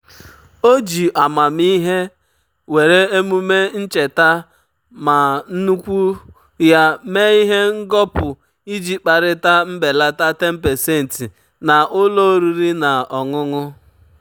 o ji amamihe were emume um ncheta mma nnukwu ya mee ihe ngọpụ iji kparịta mbelata 10% na ụlọ oriri na um ọṅụṅụ. um